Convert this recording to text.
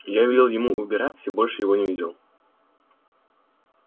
я велел ему убираться и больше его не видел